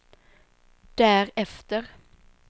därefter